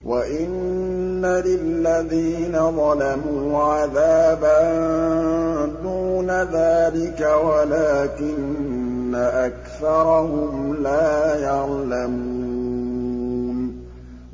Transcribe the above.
وَإِنَّ لِلَّذِينَ ظَلَمُوا عَذَابًا دُونَ ذَٰلِكَ وَلَٰكِنَّ أَكْثَرَهُمْ لَا يَعْلَمُونَ